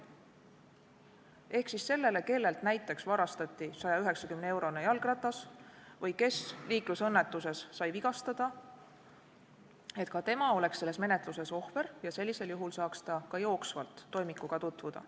Et ka see, kellelt näiteks varastati 190-eurone jalgratas või kes sai liiklusõnnetuses vigastada, oleks selles menetluses ohver ja saaks sellisel juhul ka jooksvalt toimikuga tutvuda.